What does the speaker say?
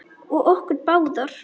Og okkur báðar.